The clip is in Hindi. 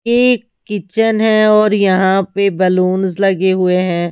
ये किचन है और यहां पे बलून्स लगे हुए हैं।